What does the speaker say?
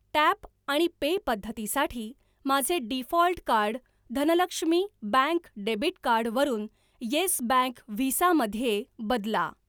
Tap आणि pay पद्धतीसाठी माझे default card Dhanlaxmi Bank debit card वरून येस बँक व्हिसा मध्ये बदला.